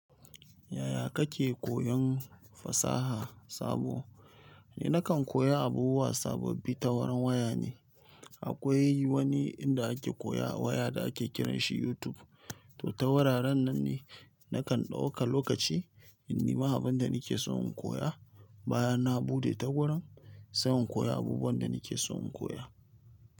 Yaya kake koyon fasaha sabo? Ni nakan koya abubuwa sababbi ta wurin waya ne. Akwai wani inda ake koya a waya da ake kiranshi YouTube. Toh ta wuraren nan ne nakan ɗauka lokaci in nema abin da nake so in koya bayan. Na buɗe ta wurin, sai in koya abubuwan da nake so in koya.